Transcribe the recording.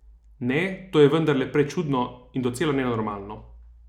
Ne, to je vendarle prečudno in docela nenormalno.